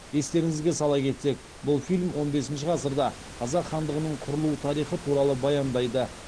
естеріңізге сала кетсек бұл фильм он бесінші ғасырда қазақ хандығының құрылу тарихы туралы баяндайды